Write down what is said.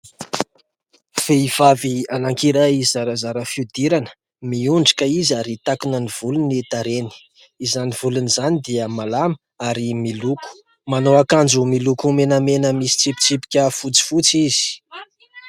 Vehivavy anankiray zarazara fihodirana, miondrika izy ary takona ny volo ny tarehiny, izany volony izany dia malama ary miloko, manao akanjo miloko menamena misy tsipitsipika fotsifotsy izy.